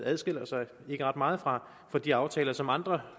adskiller sig ret meget fra de aftaler som andre